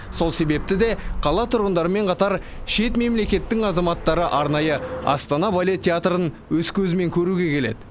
сол себепті де қала тұрғындарымен қатар шет мемлекеттің азаматтары арнайы астана балет театрын өз көзімен көруге келеді